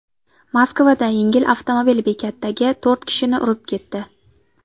Moskvada yengil avtomobil bekatdagi to‘rt kishini urib ketdi.